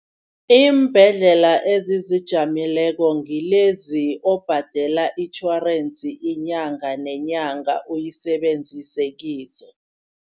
Iimbhedlela ezizijameleko ngilezi obhadela itjhorensi inyanga nenyanga uyisebenzise kizo.